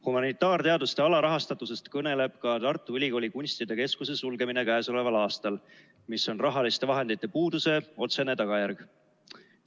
Humanitaarteaduste alarahastatusest kõneleb ka Tartu Ülikooli kunstide keskuse sulgemine käesoleval aastal, mis on rahaliste vahendite puuduse otsene tagajärg.